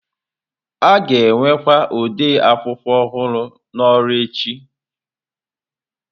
A ga-ewekwa ode akwụkwọ ọhụrụ n'ọrụ echi.